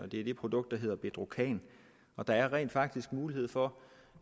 er det produkt der hedder bedrocan og der er rent faktisk mulighed for